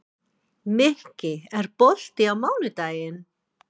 Mikki, er bolti á mánudaginn?